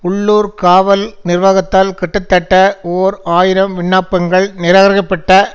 உள்ளூர் காவல் நிர்வாகத்தால் கிட்டத்தட்ட ஓர் ஆயிரம் விண்ணப்பங்கள் நிராகரிக்கப்பட்ட